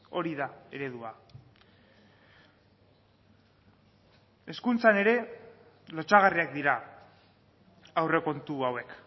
hori da eredua hezkuntzan ere lotsagarriak dira aurrekontu hauek